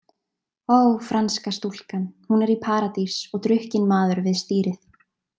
Ó, franska stúlkan, hún er í Paradís og drukkinn maður við stýrið.